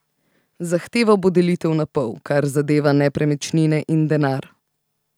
Zahteval bo delitev na pol, kar zadeva nepremičnine in denar.